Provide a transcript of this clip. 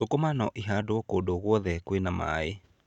Thũkũma no ihandwo kũndũ o guothe kwĩna maaĩ.